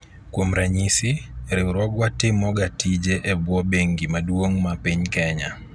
kuom ranyisi, riwruogwa timo ga tije e bwo bengi maduong' ma piny kenya